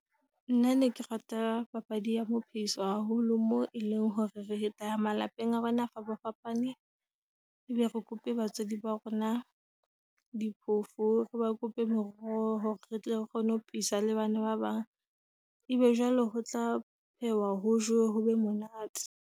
Nna ne ke rata papadi ya mo phehiso haholo moo e leng hore re tla ya malapeng a rona fapafapane. E be re kope batswadi ba rona diphoofolo. Reba kope meroho hore re tle re kgone ho pheisa le bana ba bang. Ebe jwale ho tla phehwa ho jowe, hobe monate.